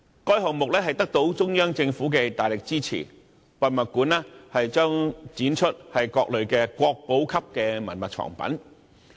該項目得到中央政府的大力支持，博物館將展出各類國寶級文物藏品。